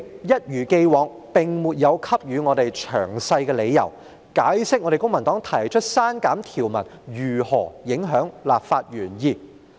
一如既往，主席沒有給予我們詳細理由，解釋公民黨提出刪減條文如何影響立法原意。